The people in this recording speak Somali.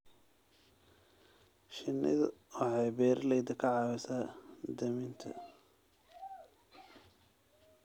Shinnidu waxay beeralayda ka caawisaa daminta.